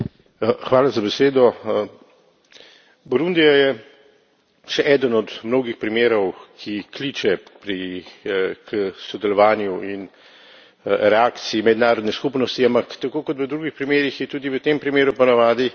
Burundi je še eden od mnogih primerov, ki kliče k sodelovanju in reakciji mednarodne skupnosti, ampak tako kot v drugih primerih je tudi v tem primeru ponavadi tako, da pridemo prepozno.